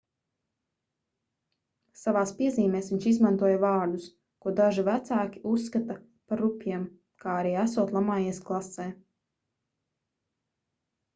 savās piezīmēs viņš izmantoja vārdus ko daži vecāki uzskata par rupjiem kā arī esot lamājies klasē